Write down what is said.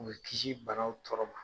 U bɛ kiisi banaw tɔɔrɔ ma.